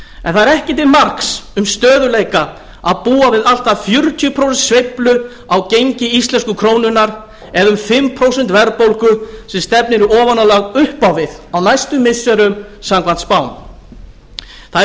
en það er ekki til marks um stöðugleika að búa við allt að fjörutíu prósent sveiflu á gengi íslensku krónunnar en um fimm prósent verðbólgu sem stefnir í ofanálag upp á við á næstu missirum samkvæmt spám það er